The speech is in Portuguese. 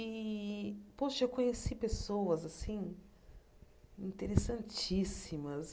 E, poxa, eu conheci pessoas, assim, interessantíssimas.